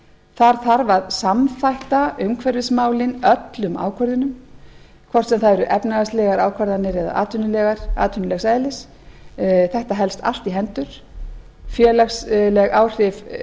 þar þarf að samþætta umhverfismál öllum ákvörðunum hvort sem það eru efnahagslegar ákvarðanir eða atvinnulegs eðlis þetta helst allt í hendur félagsleg áhrif